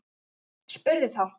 Spurði þá